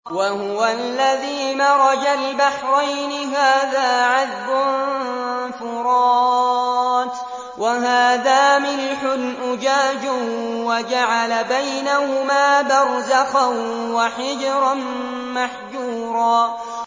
۞ وَهُوَ الَّذِي مَرَجَ الْبَحْرَيْنِ هَٰذَا عَذْبٌ فُرَاتٌ وَهَٰذَا مِلْحٌ أُجَاجٌ وَجَعَلَ بَيْنَهُمَا بَرْزَخًا وَحِجْرًا مَّحْجُورًا